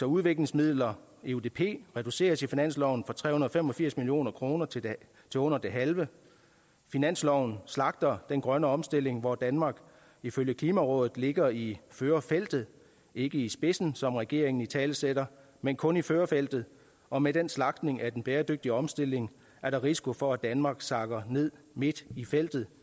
udviklingsmidler eudp reduceres i finansloven fra tre hundrede og fem og firs million kroner til det under det halve finansloven slagter den grønne omstilling hvor danmark ifølge klimarådet ligger i førerfeltet ikke i spidsen som regeringen italesætter men kun i førerfeltet og med den slagtning af den bæredygtige omstilling er der risiko for at danmark sakker ned midt i feltet